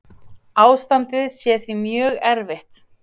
Ástandið sé því mjög erfitt.